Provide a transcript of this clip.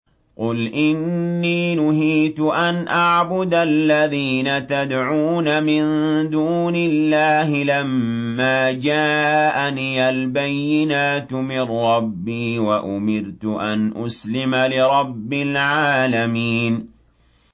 ۞ قُلْ إِنِّي نُهِيتُ أَنْ أَعْبُدَ الَّذِينَ تَدْعُونَ مِن دُونِ اللَّهِ لَمَّا جَاءَنِيَ الْبَيِّنَاتُ مِن رَّبِّي وَأُمِرْتُ أَنْ أُسْلِمَ لِرَبِّ الْعَالَمِينَ